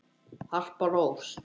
Harpa Rós.